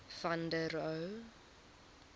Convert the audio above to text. van der rohe